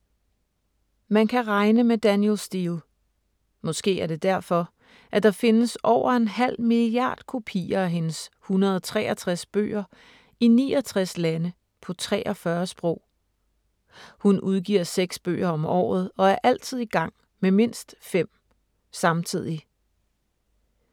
Man kan regne med Danielle Steel. Måske er det derfor, at der findes over en halv milliard kopier af hendes 163 bøger i 69 lande på 43 sprog. Hun udgiver seks bøger om året og er altid i gang med mindst fem. Samtidig.